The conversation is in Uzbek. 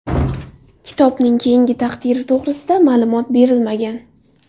Kitobning keyingi taqdiri to‘g‘risida ma’lumot berilmagan.